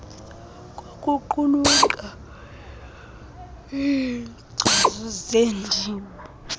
kokuqulunqa iinkcazo zeendima